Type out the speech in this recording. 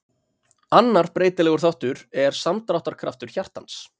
annar breytilegur þáttur er samdráttarkraftur hjartans